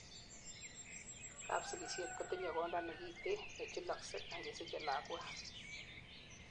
kapsigisiet kotinyei konda nekiten nechulaksei angesichei lakwet